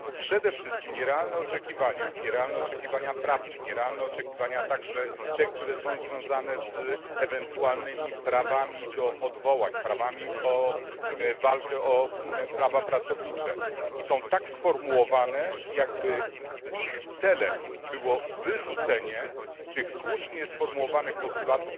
Przede wszystkim nierealne oczekiwania nierealne oczekiwania prawne, także te, które są związane z ewentualnymi prawami do odwołań, prawami do walki o prawa pracownicze są tak sformułowane, jakby ich celem było wyrzucenie tych słusznie sformułowanych na